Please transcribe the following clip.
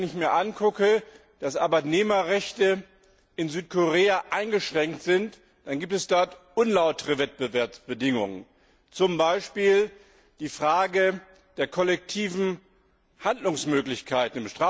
Wenn ich mir angucke, dass Arbeitnehmerrechte in Südkorea eingeschränkt sind, dann gibt es dort unlautere Wettbewerbsbedingungen, zum Beispiel die Frage der kollektiven Handlungsmöglichkeiten.